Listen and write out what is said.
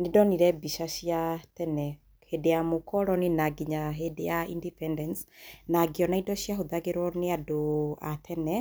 nĩndonire mbica cia tene, hĩndĩ ya mũkoroni na nginya hĩndĩ ya independence na ngĩona indo cia hũthagĩrwo nĩ andũ a tene